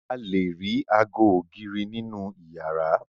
A lè ago ògiri nínú ìyàrá.